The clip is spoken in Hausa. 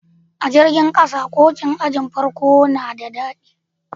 A jirigin kasan, koci'n ajin farko na de dadi.